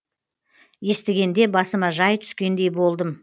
естігенде басыма жай түскендей болдым